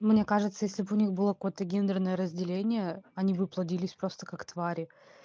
мне кажется если б у них была какое-то гендерное разделение они бы плодились просто как твари